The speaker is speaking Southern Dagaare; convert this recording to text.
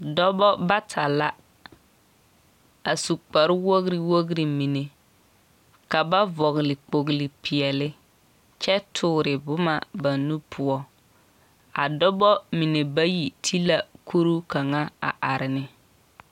Dɔbɔ bata la a su kparre wogiri wogiri mine. Ka ba vɔgle kpogle peɛle kyɛ toore boma ba nu poɔ. A dɔbɔ mine bayi ti la kuruu kaŋa a are ne.